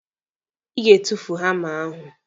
Ị ga-etufu hama ahụ!